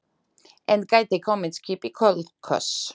Enn gæti komið skip í Kolkuós.